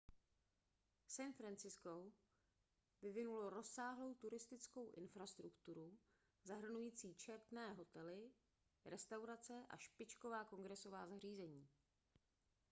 san francisko vyvinulo rozsáhlou turistickou infrastrukturu zahrnující četné hotely restaurace a špičková kongresová zařízení